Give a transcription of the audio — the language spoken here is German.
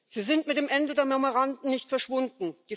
Sie sind mit dem Ende der Memoranden nicht verschwunden.